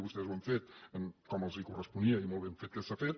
vostès ho han fet com els corresponia i molt ben fet que s’ha fet